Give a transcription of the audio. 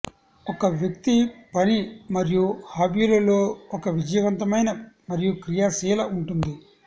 ఒక వ్యక్తి పని మరియు హాబీలు లో ఒక విజయవంతమైన మరియు క్రియాశీల ఉంటుంది